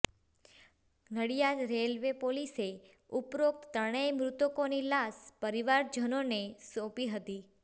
Nadiad railway પોલીસે ઉપરોકત ત્રણેય મૃતકોની લાશ પરિવારજનોને સોપી હતી